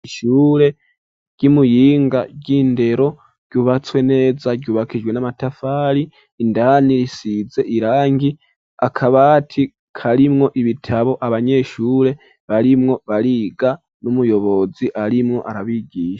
Ishule ry,Imuyinga ry,indero ryubatswe neza ryubakishijwe n'amatafari, indani risize irangi, akabati karimwo ibitabo, abanyeshure barimwo bariga n'umuyobozi arimwo arabigisha.